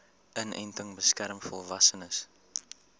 inenting beskerm volwassenes